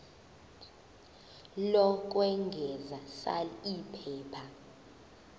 lokwengeza sal iphepha